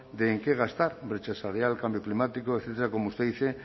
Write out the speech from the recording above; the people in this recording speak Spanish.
de en qué gastar brecha salarial cambio climático etcétera como usted dice